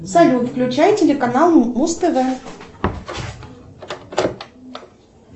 салют включай телеканал муз тв